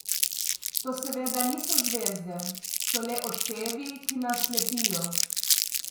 To seveda niso zvezde, so le odsevi, ki nas slepijo.